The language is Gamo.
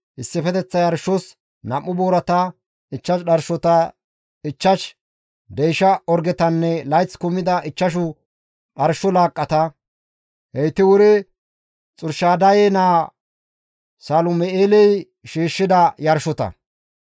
issifeteththa yarshos 2 boorata, 5 dharshota, 5 deysha orgetanne layth kumida ichchashu dharsho laaqqata; heyti wuri Xurshadaye naa Salum7eeley shiishshida yarshota.